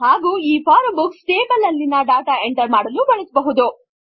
ಹಾಗು ಈ form books table ನಲ್ಲಿ ಡಾಟಾ ಎಂಟರ್ ಮಾಡಲು ಬಳಸ ಬಹುದು